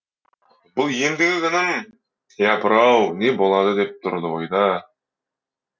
бұл ендігі күнім япыр ау не болады деп тұрды ойда